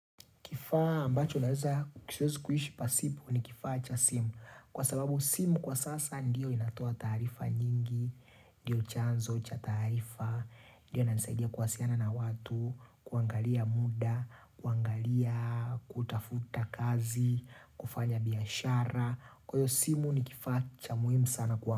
Kifaa ambacho naweza siwezi kuishi pasipo ni kifaa cha simu kwa sababu simu kwa sasa ndiyo inatoa taarifa nyingi, ndiyo chanzo cha taarifa, ndiyo inanisaidia kuwasiliana na watu, kuangalia muda, kuangalia, kutafuta kazi, kufanya biashara, kwa hiyo simu ni kifaa cha muhimu sana kwa.